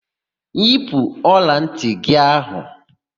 Yipu ọlantị gị áhụ̀!